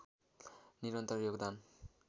निरन्तर योगदान